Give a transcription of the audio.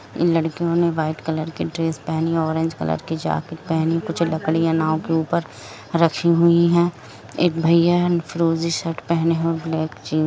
लड़कियों ने white colour की ड्रेस पहनी है ऑरेंज कलर की जैकिट पहनी है कुछ लकड़िया नाव के उपर रखी हुई है एक भैया है फिरोजी शर्ट पहना ब्लैक जिन्स --